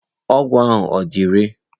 Ọgwụ a ọ dị irè?